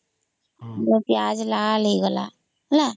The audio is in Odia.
ପିଆଜ ଲାଲ ହେଇଗଲା ହେଲା